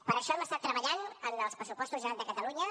per això hem estat treballant en els pressupostos generals de catalunya